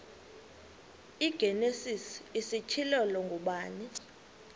igenesis isityhilelo ngubani